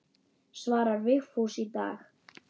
Svarar Vigfús í dag?